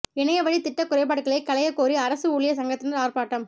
இணைய வழி திட்ட குறைபாடுகளைக் களையக்கோரி அரசு ஊழியா் சங்கத்தினா் ஆா்ப்பாட்டம்